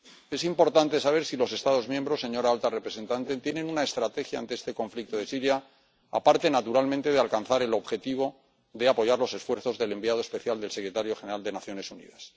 Es importante saber si los Estados miembros, señora alta representante, tienen una estrategia ante este conflicto de Siria aparte, naturalmente, de alcanzar el objetivo de apoyar los esfuerzos del enviado especial del secretario general de Naciones Unidas.